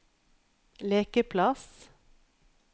lekeplass